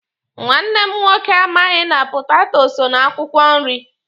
Nwanne m nwoke amaghị na potato so na akwụkwọ nri.